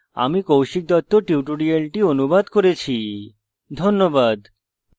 আমি কৌশিক দত্ত tutorial অনুবাদ করেছি ধন্যবাদ